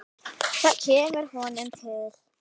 Það kemur honum til.